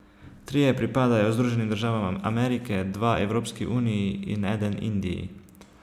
Trije pripadajo Združenim državam Amerike, dva Evropski uniji in eden Indiji.